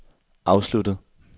afsluttet